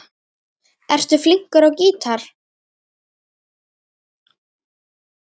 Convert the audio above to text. Ertu flinkur á gítar?